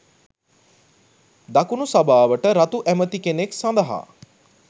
දකුණු සභාවට රතු ඇමතිකෙනෙක් සඳහා